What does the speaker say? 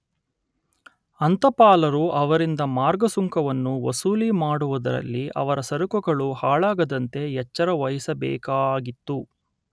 ಅಂತಪಾಲರು ಅವರಿಂದ ಮಾರ್ಗ ಸುಂಕವನ್ನು ವಸೂಲಿ ಮಾಡುವುದರಲ್ಲಿ ಅವರ ಸರಕುಗಳು ಹಾಳಾಗದಂತೆ ಎಚ್ಚರ ವಹಿಸಬೇಕಾಗಿತ್ತು